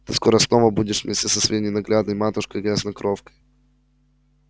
ты скоро снова будешь вместе со своей ненаглядной матушкой-грязнокровкой